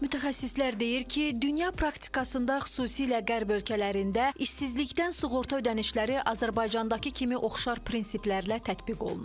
Mütəxəssislər deyir ki, dünya praktikasında xüsusilə Qərb ölkələrində işsizlikdən sığorta ödənişləri Azərbaycandakı kimi oxşar prinsiplərlə tətbiq olunur.